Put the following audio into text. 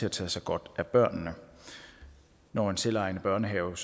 at tage sig godt af børnene når en selvejende børnehave